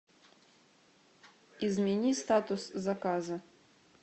измени статус заказа